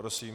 Prosím.